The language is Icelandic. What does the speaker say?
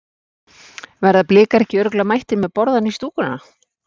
Verða Blikar ekki örugglega mættir með borðann í stúkuna?